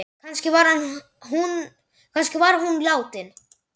Kannski var hún látin.